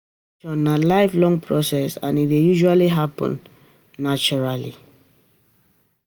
Informal education na life long process and e dey usally happen naturally